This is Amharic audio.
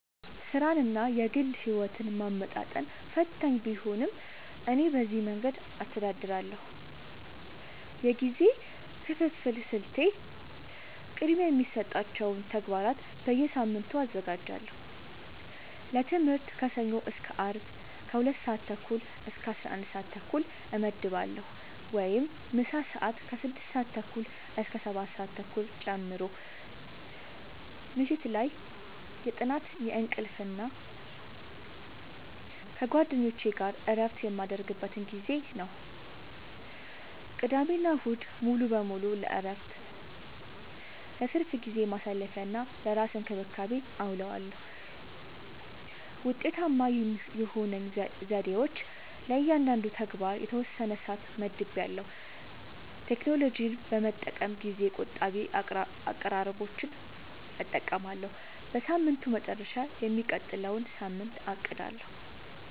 ሥራንና የግል ሕይወትን ማመጣጠን ፈታኝ ቢሆንም፣ እኔ በዚህ መንገድ አስተዳድራለሁ፦ የጊዜ ክፍፍል ስልቴ፦ · ቅድሚያ የሚሰጣቸውን ተግባራት በየሳምንቱ አዘጋጃለሁ · ለትምህርት ከሰኞ እስከ አርብ ከ 2:30-11:30 እመድባለሁ (ምሳ ሰአት 6:30-7:30 ጨምሮ) · ምሽት ላይ የጥናት፣ የእንቅልፍ እና ከጓደኞች ጋር እረፍት የምናደርግበት ጊዜ ነው። · ቅዳሜና እሁድ ሙሉ በሙሉ ለእረፍት፣ ለትርፍ ጊዜ ማሳለፊ፣ እና ለራስ እንክብካቤ አዉለዋለሁ። ውጤታማ የሆኑኝ ዘዴዎች፦ · ለእያንዳንዱ ተግባር የተወሰነ ሰዓት መድቤያለሁ · ቴክኖሎጂን በመጠቀም ጊዜ ቆጣቢ አቀራረቦችን እጠቀማለሁ · በሳምንቱ መጨረሻ የሚቀጥለውን ሳምንት አቅዳለሁ